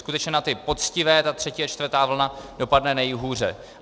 Skutečně na ty poctivé ta třetí a čtvrtá vlna dopadne nejhůře.